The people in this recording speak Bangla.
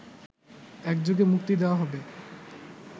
একযোগে মুক্তি দেওয়া হবে